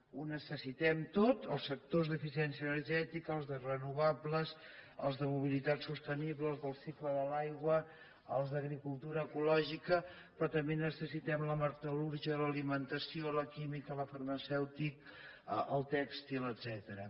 ho necessitem tot els sectors d’eficiència energètica els de renovables els de mobilitat sostenible els del cicle de l’aigua els d’agricultura ecològica però també necessitem la metal·lúrgia l’alimentació la química la farmacèutica el tèxtil etcètera